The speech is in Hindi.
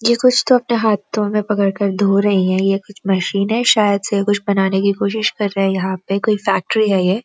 ये कुछ तो अपने हथ्थों में पकड़ कर धो रही हैं ये कुछ मशीन है शायद से कुछ बनाने की कोशिश कर रहे हैं यहाँ पे कोई फैक्ट्री है ये --